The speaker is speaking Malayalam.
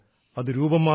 അത് രൂപം മാറും